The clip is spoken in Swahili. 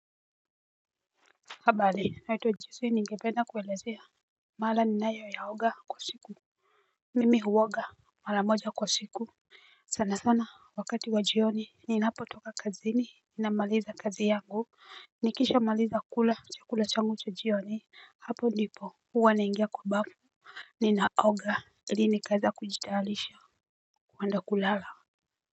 Habari naitwa jisi ningependa kuelezea mara ninayoyaoga kwa siku. Mimi huoga mara moja kwa siku sana sana wakati wa jioni ninapotoka kazini namaliza kazi yangu nikishamaliza kula chakula changu cha jioni hapo ndipo huwa naingia kwa bafu. Ninaoga ili nikaeza kujitayarisha kuenda kulala.